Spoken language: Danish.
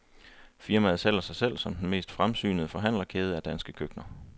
Firmaet sælger sig selv som den mest fremsynede forhandlerkæde af danske køkkener.